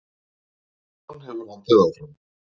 Baráttan hefur haldið áfram